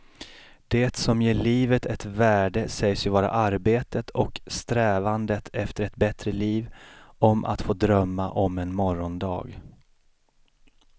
Det som ger livet ett värde sägs ju vara arbetet och strävandet efter ett bättre liv, om att få drömma om en morgondag.